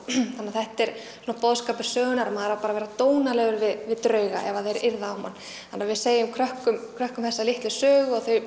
þannig að þetta er svona boðskapur sögunnar að maður á bara að vera dónalegur við drauga ef að þeir yrða á mann þannig að við segjum krökkum krökkum þessa litlu sögu og þau